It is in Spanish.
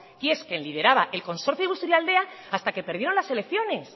que es quien lideraba el consorcio de busturialdea hasta que perdieron las elecciones